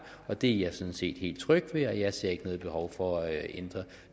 det er jeg sådan set helt tryg ved jeg ser ikke noget behov for at ændre